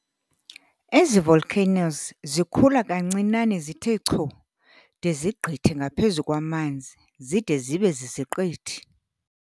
Ezi volcanoes zikhula kancinane zithe chu de zigqithe ngaphezu kwamanzi zide zibe ziziqithi.